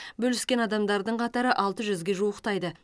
бөліскен адамдардың қатары алты жүзге жуықтайды